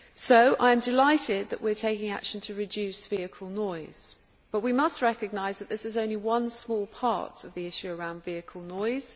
So I am delighted that we are taking action to reduce vehicle noise, but we must recognise that this is only one small part of the issue of vehicle noise.